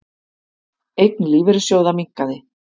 Eign lífeyrissjóða minnkaði